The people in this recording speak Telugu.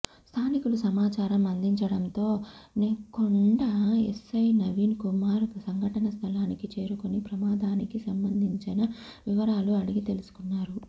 స్థానికులు సమాచారం అందించడంతో నెక్కొండ ఎస్సై నవీన్ కుమార్ సంఘటన స్థలానికి చేరుకొని ప్రమాదానికి సంబంధించన వివరాలు అడిగి తెలిసుకున్నారు